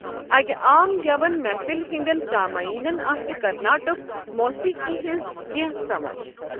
اَکہِ عام گٮ۪وَن محفل ہنٛدٮ۪ن سامعیٖنَن آسہِ کرناٹک موسیقی ہنٛز کینٛہہ سَمَجھ۔